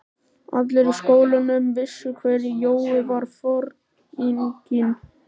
Allir í skólanum vissu hver Jói var, foringinn.